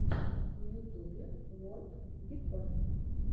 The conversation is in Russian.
в ютубе ворп бикон